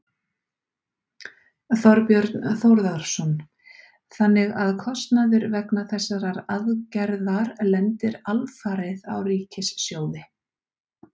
Þorbjörn Þórðarson: Þannig að kostnaður vegna þessarar aðgerðar lendir alfarið á ríkissjóði?